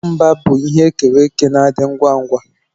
Nwamba bụ ihe e kere eke na-adị ngwa ngwa